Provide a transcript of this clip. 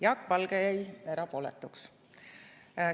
Jaak Valge jäi erapooletuks.